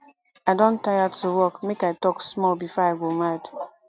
i don tire to work make i talk small before i go mad